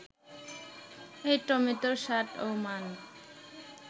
এ টমেটোর স্বাদ ও মান